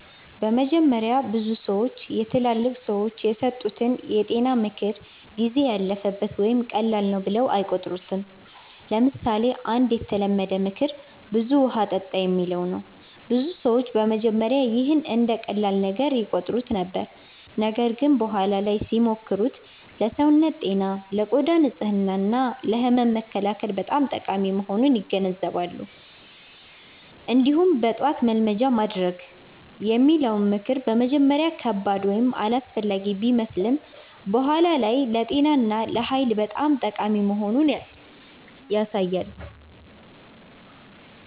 በመጀመሪያ ብዙ ሰዎች የትላልቅ ሰዎች የሰጡትን የጤና ምክር “ጊዜ ያለፈበት” ወይም “ቀላል ነው” ብለው አይቆጥሩትም። ለምሳሌ አንድ የተለመደ ምክር “ብዙ ውሃ ጠጣ” የሚለው ነው። ብዙ ሰዎች በመጀመሪያ ይህን እንደ ቀላል ነገር ይቆጥሩት ነበር፣ ነገር ግን በኋላ ላይ ሲሞክሩት ለሰውነት ጤና፣ ለቆዳ ንጽህና እና ለህመም መከላከል በጣም ጠቃሚ መሆኑን ይገነዘባሉ። እንዲሁም “በጠዋት መልመጃ ማድረግ” የሚለው ምክር በመጀመሪያ ከባድ ወይም አላስፈላጊ ቢመስልም በኋላ ላይ ለጤና እና ለኃይል በጣም ጠቃሚ መሆኑን ያሳያል።